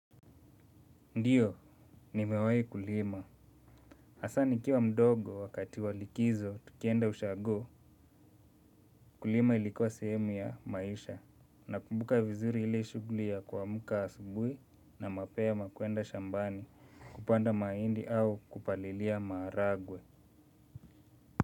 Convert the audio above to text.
Ndiyo, nimewahi kulima. Hasa nikiwa mdogo wakati wa likizo tukienda ushago kulima ilikua sehemu ya maisha nakumbuka vizuri ile shughuli ya kuamka asubuhi na mapema kuenda shambani kupanda mahindi au kupalilia maharagwe.